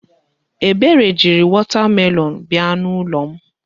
Ebere jiri wọta melọọnụ bịa n'ụlọ m.